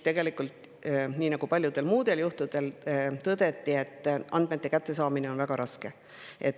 Tegelikult nii nagu paljudel muudel juhtudel tõdeti, et andmete kättesaamine on väga raske.